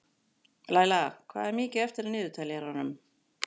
Laila, hvað er mikið eftir af niðurteljaranum?